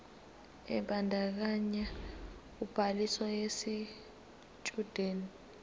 ebandakanya ubhaliso yesitshudeni